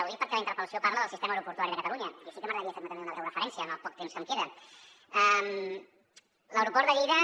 ho dic perquè la interpel·lació parla del sistema aeroportuari de catalunya així que m’agradaria fer·hi també una breu referència en el poc temps que em queda